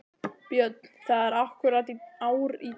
Björn: Það er akkúrat ár í dag?